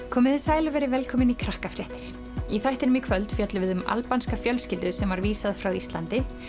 komiði sæl og verið velkomin í Krakkafréttir í þættinum í kvöld fjöllum við um albanska fjölskyldu sem var vísað frá Íslandi